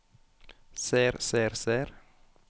ser ser ser